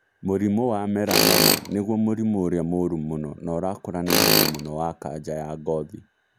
Mũrimũ wa melanoma nĩguo mũrimũ ũrĩa mũũru mũno na ũrakũra na ihenya mũno wa kanja ya ngothi.